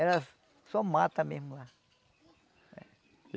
Era só mata mesmo lá.